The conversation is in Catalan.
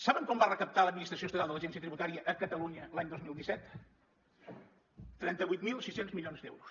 saben quant va recaptar l’administració estatal de l’agència tributària a catalunya l’any dos mil disset trenta vuit mil sis cents milions d’euros